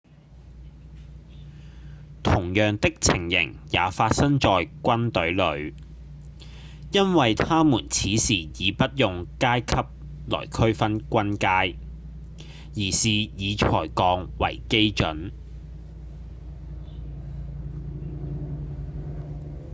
同樣的情形也發生在軍隊裡因為他們此時已不用階級來區分軍階而是以才幹為基準